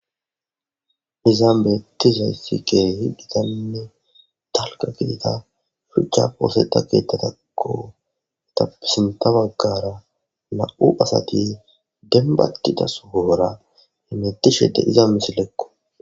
Izzan bettizaysi kehi giitanne dalgga gidida shuchchappe ooththetida keththatako etape sinththa baggara nam7u asati dembba gidida sohora hemetishe deiza missileko.